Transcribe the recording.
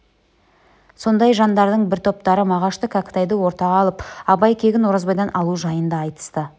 сондай жандардың бір топтары мағашты кәкітайды ортаға алып абай кегін оразбайдан алу жайын да айтысты